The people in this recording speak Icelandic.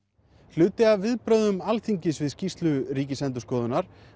hluti af viðbrögðum Alþingis við skýrslu Ríkisendurskoðunar